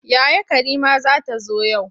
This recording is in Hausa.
Yaya Karima za ta zo yau.